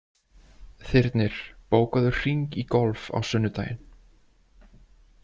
Þyrnir, bókaðu hring í golf á sunnudaginn.